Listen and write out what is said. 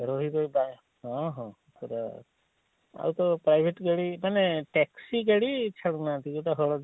ରହି ରହି ହଁ ହଁ ର ଆଉ ତ ଗାଡି ମାନେ taxi ଗାଡି ଛାଡୁ ନାହାନ୍ତି ଜଉଟା ହଳଦିଆ?